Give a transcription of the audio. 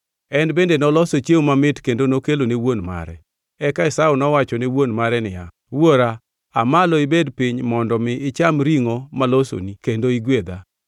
En bende noloso chiemo mamit kendo nokelo ne wuon mare. Eka Esau nowacho ne wuon mare niya, “Wuora, aa malo ibed piny mondo mi icham ringʼo malosoni kendo igwedha.”